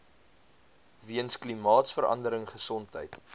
weens klimaatsverandering gesondheid